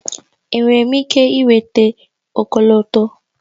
Enwere m ike ịnweta ọkọlọtọ?